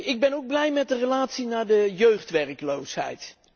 Ik ben ook blij met de relatie met de jeugdwerkloosheid.